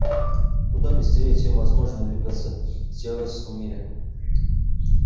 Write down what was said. куда быстрее чем возможно двигаться в человеческом мире